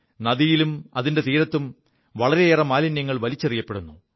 നദിയിലും അതിന്റെ തീരത്തും വളരേയേറെ മാലിന്യങ്ങൾ വലിച്ചെറിയപ്പെടുു